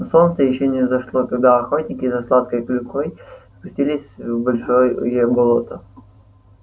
но солнце ещё не взошло когда охотники за сладкой клюквой спустились в большое болото